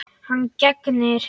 Hann gegnir.